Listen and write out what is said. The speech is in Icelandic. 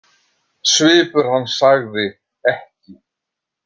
Svipur hans sagði: Ekki.